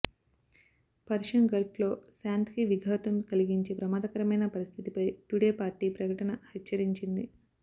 Persian గల్ఫ్లో శాంతికి విఘాతం కలిగించే ప్రమాదకరమైన పరిస్థితిపై టుడే పార్టీ ప్రకటన హెచ్చరించింది